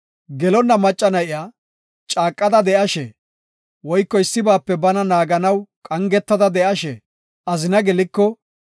“Gelonna macca na7iya caaqada de7ashe woyko issibaape bana naaganaw qangetada de7ashe azina geliko,